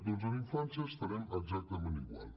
doncs en infància estarem exactament igual